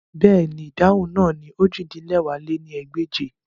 Bẹ́ẹ̀ni, idahun naa ni ojì-din-lẹwá lé ní ẹgbẹ́je